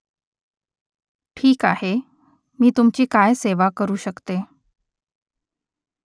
ठीक आहे . मी तुमची काय सेवा करू शकते ?